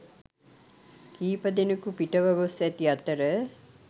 කිහිපදෙනකු පිටව ගොස් ඇති අතර